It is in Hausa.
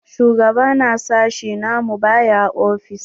Shugaba na sashi na mu ba ya ofis.